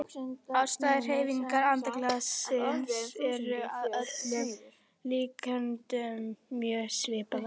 Ástæður hreyfingar andaglassins eru að öllum líkindum mjög svipaðar.